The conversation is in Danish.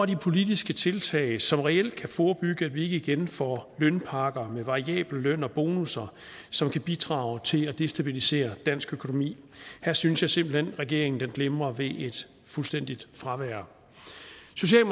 de politiske tiltag som reelt kan forebygge at vi igen får lønpakker med variabel løn og bonusser som kan bidrage til at destabilisere dansk økonomi her synes jeg simpelt hen regeringen glimrer ved et fuldstændigt fravær